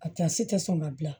A tɛ sɔn ka dilan